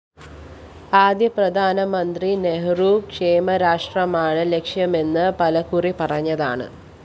ആദ്യ പ്രധാനമന്ത്രി നെഹ്രു ക്ഷേമരാഷ്ട്രമാണ് ലക്ഷ്യമെന്ന് പലകുറി പറഞ്ഞതാണ്